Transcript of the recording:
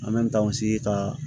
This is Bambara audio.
An bɛ n'an sigi ka